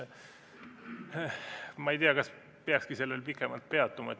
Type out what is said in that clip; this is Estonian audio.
Ma ei tea, kas peakski sellel pikemalt peatuma.